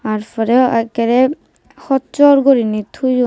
tar poreyo ekkere hojsor gurinei toyon.